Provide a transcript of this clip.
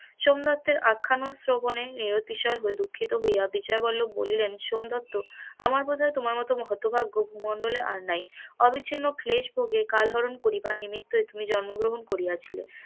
সোমদত্তের আখ্যান শ্রবনে নিয়তি দুঃখিত হইয়া বিজয় বল্লভ বলিলেন সোমদত্ত আমার মনে হয় তোমার মত হত ভাগ্য ভূমন্ডলে আর নাই অবিছিন্ন ক্লেশ কাল হরন করিবার নিমিত্তই তুমি জন্ম গ্রহন করিয়াছিলেন,